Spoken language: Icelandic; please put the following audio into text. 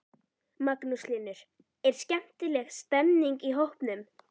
Magnús Hlynur: Er skemmtileg stemming í hópnum?